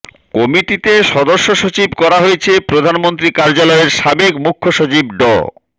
কমিটিতে সদস্য সচিব করা হয়েছে প্রধানমন্ত্রী কার্যালয়ের সাবেক মুখ্য সচিব ড